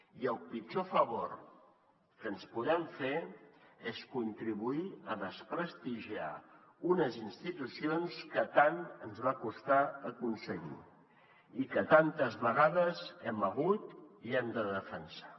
i el pitjor favor que ens podem fer és contribuir a desprestigiar unes institucions que tant ens va costar aconseguir i que tantes vegades hem hagut i hem de defensar